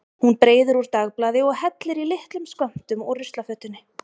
Hún breiðir úr dagblaði og hellir í litlum skömmtum úr ruslafötunni.